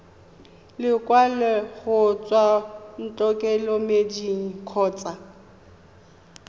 lekwalo go tswa ntlokemeding kgotsa